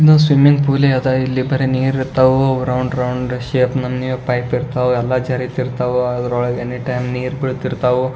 ಇನ್ನು swimming pool ಅದ ಇಲ್ಲೇ ಬರೇ ನೀರ್ ಅದ ರೌಂಡ್ ರೌಂಡ್ ಪೈಪ್ ಇರ್ತವು ನೀರ್ ಎಲ್ಲ ಜಾರಿತೀರ್ಥವು ಅದರಲ್ಲಿ ಎನಿ ಟೈಮ್ ನೀರು ಬೀಳುತ್ತಿರುತ್ತದೆ.